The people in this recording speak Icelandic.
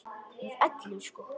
Með elli sko.